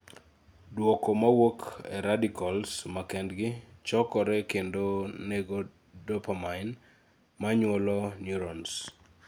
duoko mawuok e , radicals makendgi chokore kendo nego dopamine manyuolo neurones